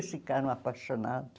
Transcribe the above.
ficaram apaixonados.